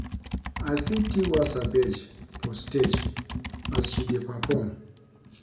I see Tiwa Savage for stage as she dey perform